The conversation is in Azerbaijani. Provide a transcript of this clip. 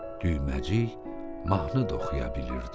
Düyməcik mahnı da oxuya bilirdi.